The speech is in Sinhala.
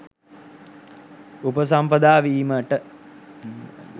උපසම්පදා වීම :